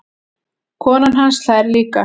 Konan hans hlær líka.